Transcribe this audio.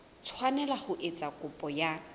tshwanela ho etsa kopo ya